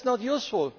That is not useful.